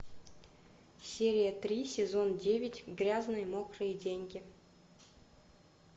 серия три сезон девять грязные мокрые деньги